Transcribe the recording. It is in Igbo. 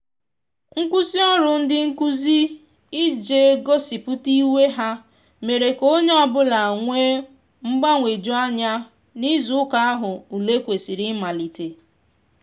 nkwụsị ọrụ ndị nkụzi ije gosipụta iwe ha mere ka onye ọbụla wee mgbanweju anya n'izụ ụka ahu ụle kwesiri imalite